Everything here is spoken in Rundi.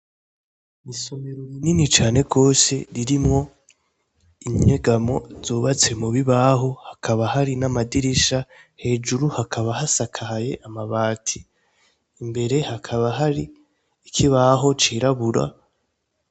Misomero rinini cane rwose ririmwo innyegamo zobatse mu bibaho hakaba hari n'amadirisha hejuru hakaba hasakaye amabati imbere hakaba hari ikibaho cirabura.